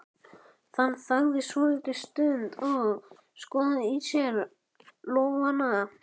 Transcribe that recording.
Hann þagði svolitla stund og skoðaði á sér lófana.